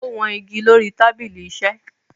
Ó wọn igi lórí i tábìlì-iṣẹ́